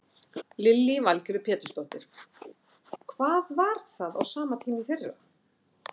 Lillý Valgerður Pétursdóttir: Hvað var það á sama tíma í fyrra?